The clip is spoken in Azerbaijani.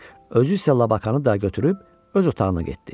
Özü isə Labaqanı da götürüb öz otağına getdi.